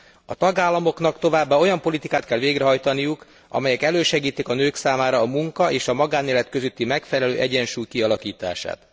A tagállamoknak továbbá olyan politikát kell végrehajtaniuk, amely elősegíti a nők számára a munka és a magánélet közötti megfelelő egyensúly kialakítását.